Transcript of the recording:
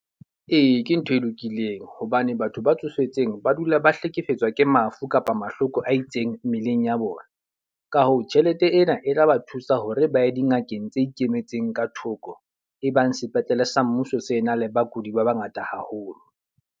Ee, ke ntho e lokileng. Hobane batho ba tsofetseng ba dula ba hlekefetswa ke mafu kapa mahloko a itseng mmeleng ya bona. Ka hoo, tjhelete ena e tla ba thusa hore ba ye dingakeng tse ikemetseng ka thoko. E bang sepetlele sa mmuso se na le bakudi ba ba ngata haholo.